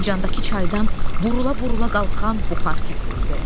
Fincandakı çaydan burula-burula qalxan buxar kəsildi.